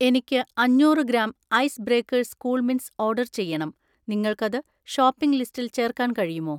എനിക്ക് അഞ്ഞൂറ് gram ice breakers cool mints order ചെയ്യണം, നിങ്ങൾക്കത് ഷോപ്പിംഗ് ലിസ്റ്റിൽ ചേർക്കാൻ കഴിയുമോ?